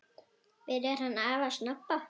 Byrjar hann afi að snobba!